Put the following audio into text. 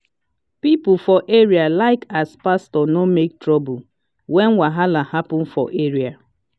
people for area like as pastor no make trouble when wahala happen for area.